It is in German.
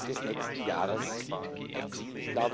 des nächsten Jahres erzielt.